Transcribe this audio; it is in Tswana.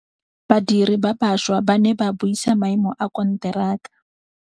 Badiri ba baša ba ne ba buisa maêmô a konteraka.